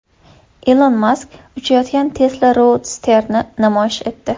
Ilon Mask uchayotgan Tesla Roadster’ni namoyish etdi .